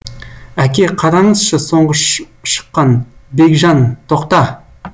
әке қараңызшы соңғы шыққан бекжан тоқта